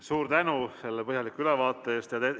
Suur tänu selle põhjaliku ülevaate eest!